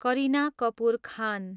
Kareena Kapoor Khan